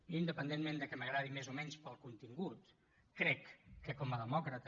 jo independentment que m’agradi més o menys pel contingut crec que com a demòcrata